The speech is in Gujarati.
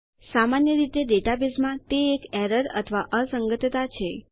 સામાન્ય રીતે ડેટાબેઝમાં તે એક એરર અથવા અસંગતતા છે